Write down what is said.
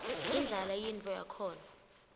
indlala yintfo yakhona